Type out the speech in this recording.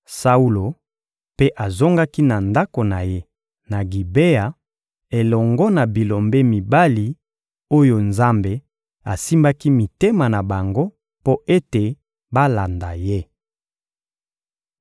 Saulo mpe azongaki na ndako na ye, na Gibea, elongo na bilombe mibali oyo Nzambe asimbaki mitema na bango mpo ete balanda ye.